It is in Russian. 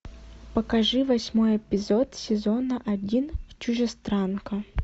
покажи восьмой эпизод сезона один чужестранка